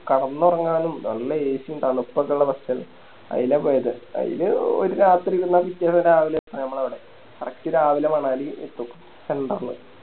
കെടന്നൊറങ്ങാനും നല്ല AC യും തണുപ്പൊക്കെള്ള Bus അയില പോയത് അയില് ഒരു രാത്രി പോയ പിറ്റേന്ന് രാവിലെ ഞമ്മളവിടെ Correct രാവിലെ മണാലി എത്തും Central ല്